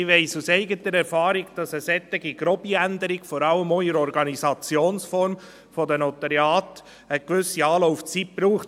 Ich weiss aus eigener Erfahrung, dass eine solche, grobe Änderung, vor allem auch in der Organisationsform der Notariate, eine gewisse Anlaufzeit braucht.